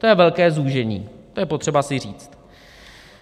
To je velké zúžení, to je potřeba si říct.